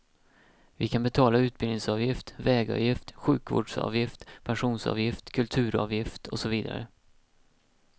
Vi kan betala utbildningsavgift, vägavgift, sjukvårdsavgift, pensionsavgift, kulturavgift och så vidare.